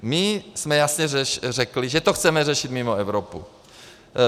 My jsme jasně řekli, že to chceme řešit mimo Evropu.